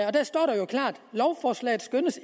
lovforslaget